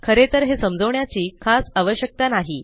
खरे तर हे समजवण्याची खास आवश्यकता नाही